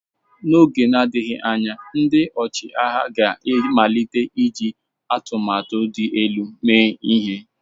N'oge na-adịghị anya, ndị ọchịagha ga-amalite iji atụmatụ dị elu mee ihe.